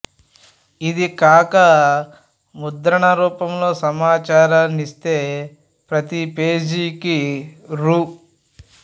ఇది కాక ముద్రణ రూపంలో సమాచారాన్ని ఇస్తే ప్రతి పేజీకి రూ